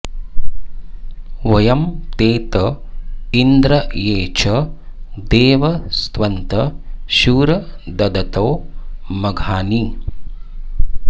वयं ते त इन्द्र ये च देव स्तवन्त शूर ददतो मघानि